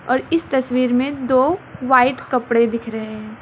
और इस तस्वीर में दो वाइट कपड़े दिख रहे है।